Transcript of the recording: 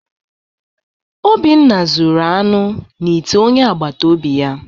Obinna zuru anụ n’ite onye agbata obi ya